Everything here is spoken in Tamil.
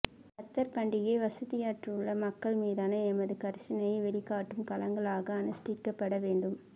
நத்தார் பண்டிகையை வசதியற்றுள்ள மக்கள் மீதான எமது கரிசனையை வெளிக்காட்டும் காலங்களாக அனுஷ்டிக்கப்பட வேண்டும்